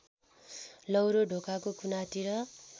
लौरो ढोकाको कुनातिर